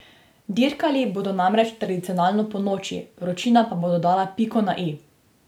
Dirkali bodo namreč tradicionalno ponoči, vročina pa bo dodala piko na i.